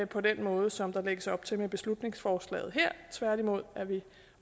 på den måde som der lægges op til med beslutningsforslaget her tværtimod er vi